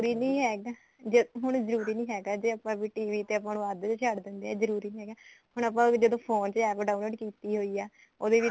ਨੀ ਹੈਗਾ ਜੇ ਹੁਣ ਜਰੂਰੀ ਨੀ ਹੈਗਾ ਜੇ ਆਪਾਂ ਵੀ TV ਤੇ ਆਪਾਂ ਨੂੰ ਅੱਧ ਵਿੱਚ ਛੱਡ ਦਿੰਦੇ ਆ ਜਰੂਰੀ ਨੀ ਹੈਗਾ ਹੁਣ ਆਪਾਂ ਜਦੋਂ phone ਤੇ APP download ਕੀਤੀ ਹੋਈ ਐ ਉਹਦੇ ਵਿੱਚ